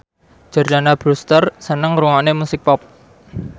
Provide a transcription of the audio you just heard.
Jordana Brewster seneng ngrungokne musik pop